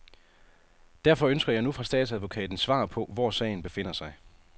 Derfor ønsker jeg nu fra statsadvokaten svar på, hvor sagen befinder sig.